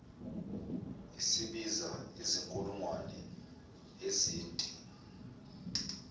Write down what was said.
isibiza izinkulungwane ezinti